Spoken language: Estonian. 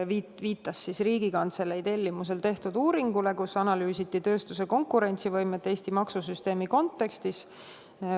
Viitas Riigikantselei tellimusel tehtud uuringule, milles analüüsiti tööstuse konkurentsivõimet Eesti maksusüsteemi kontekstis.